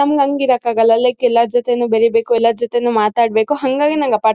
ನಮ್ಗ್ ಹಂಗ್ ಇರಕ್ಕಾಗಲ್ಲ ಲೈಕ್ ಎಲ್ಲಾರ್ ಜೊತೆನು ಬೇರಿಬೇಕು ಎಲ್ಲಾರ್ ಜೊತೆನು ಮಾತಾಡ್ಬೇಕು ಹಾಂಗಾಗಿ ನಂಗ್ ಅಪಾರ್ಟ್ಮೆಂಟ್ -